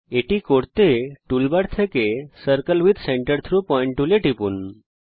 এটি করার জন্য টুলবারের মধ্যে circle with centre through point টুলে টিপুন